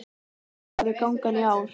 Hvernig verður gangan í ár?